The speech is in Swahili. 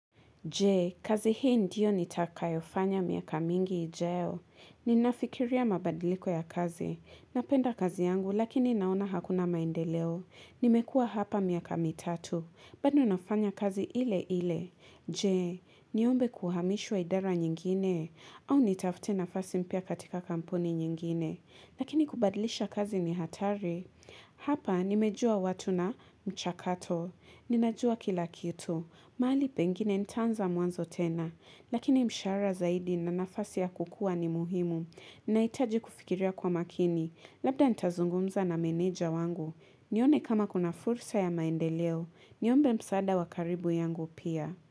Je, kazi hii ndiyo nitakayo fanya miaka mingi ijayo. Ninafikiria mabadiliko ya kazi. Napenda kazi yangu lakini naona hakuna maendeleo. Nimekua hapa miaka mitatu. Bado nafanya kazi ile ile. Je, niombe kuhamishwa idara nyingine. Au nitafute nafasi mpya katika kampuni nyingine. Lakini kubadilisha kazi ni hatari. Hapa nimejua watu na mchakato. Ninajua kila kitu. Mahali pengine nitaanza mwanzo tena, lakini mshaara zaidi na nafasi ya kukua ni muhimu. Naitaji kufikiria kwa makini, labda ntazungumza na meneja wangu. Nione kama kuna fursa ya maendeleo, niombe msaada wakaribu yangu pia.